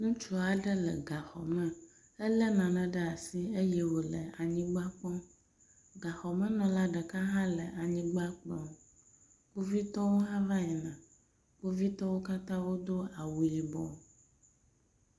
ŋutsuaɖe le gaxɔme ele nane ɖe asi ye wole anyigba kpɔm gaxɔmenɔla ɖeka hã le anyigba kplɔm kpovitɔwo hã vayina kpovitɔwo katã wodó awu yibɔ